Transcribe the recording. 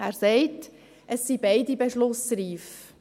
Er sagt, es seien beide Vorlagen beschlussreif.